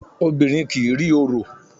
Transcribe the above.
Obìnrin kì í rí orò.